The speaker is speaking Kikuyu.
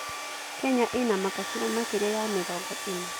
Kenya ĩna makabira makĩria ya mĩrongo ĩna.